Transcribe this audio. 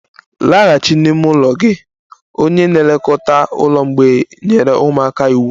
Laghachi n'ime ụlọ gị! Onye na-elekọta ụlọ mgbei nyere ụmụaka iwu